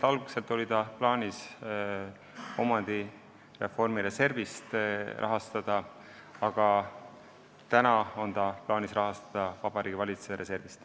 Algselt oli seda plaanis rahastada omandireformi reservist, aga nüüd tuleb see raha Vabariigi Valitsuse reservist.